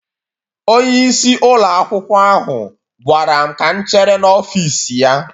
Onyeisi ụlọ akwụkwọ ahụ gwara m ka m chere n'ọfịs ya